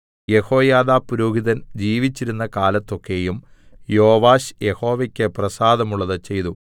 യെഹോയാദാ പുരോഹിതൻ ജീവിച്ചിരുന്ന കാലത്തൊക്കെയും യോവാശ് യഹോവയ്ക്ക് പ്രസാദമുള്ളത് ചെയ്തു